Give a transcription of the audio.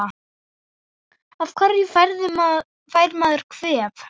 Af hverju fær maður kvef?